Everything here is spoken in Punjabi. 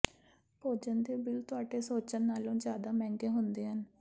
ਭੋਜਨ ਦੇ ਬਿੱਲ ਤੁਹਾਡੇ ਸੋਚਣ ਨਾਲੋਂ ਜ਼ਿਆਦਾ ਮਹਿੰਗੇ ਹੁੰਦੇ ਹਨ